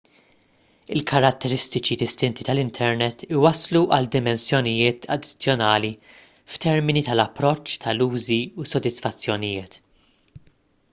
il-karatteristiċi distinti tal-internet iwasslu għal dimensjonijiet addizzjonali f'termini tal-approċċ tal-użi u s-sodisfazzjonijiet